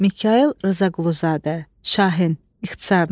Mikayıl Rzaquluzadə, Şahin, ixtisarla.